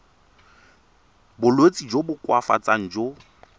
bolwetsi jo bo koafatsang jo